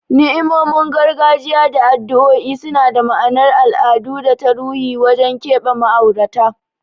Ni'imomin gargajiya da addu'o'i suna da ma'anar al'adu da ta ruhi wajen keɓe ma'aurata.